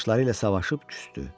Yoldaşları ilə savaşıb küsdü.